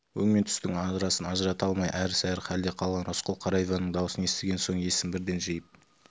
өң мен түстің арасын ажырата алмай әрі-сәрі халде қалған рысқұл қара иванның дауысын естіген соң есін бірден жиып